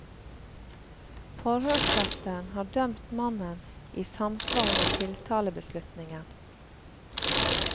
Forhørsretten har dømt mannen i samsvar med tiltalebeslutningen.